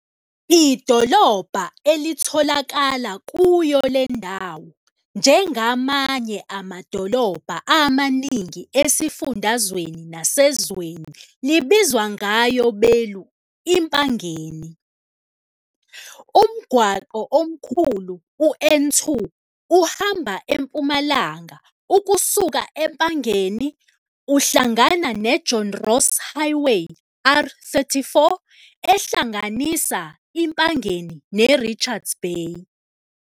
Idolobha elitholakala kuyo le ndawo njengamanye amadolobha amaningi esifundazweni nasezweni libizwa ngayo belu iMpangeni. Umgwaqo omkhulu u-N2 uhamba empumalanga ukusuka e-Empangeni uhlangana ne-John Ross Highway, R34, ehlanganisa iMpangeni neRichards Bay.